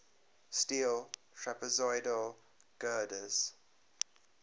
steel trapezoidal girders